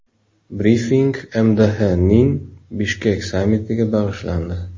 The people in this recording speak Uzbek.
Brifing MDHning Bishkek sammitiga bag‘ishlandi.